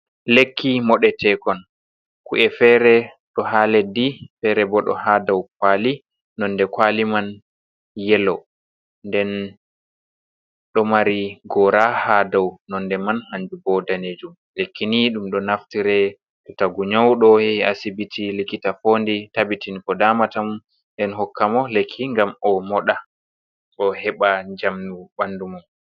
Lekki mooɗetekon ku’e fere ɗo ha leddi, ferebo ɗo ha dou kwaali. Nonde kwaali man yeelo, nden ɗo maari goora ha dou nonde maajumbo danejum. Lekki ni ɗum ɗo naftire to taguu nƴauɗo yeehi asibiti likita foondi tabbitin ko damatamo nden hokka mo lekki ngam omooɗa, oheɓa njamu ɓandu mum.